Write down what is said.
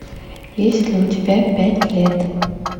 есть ли у тебя пять лет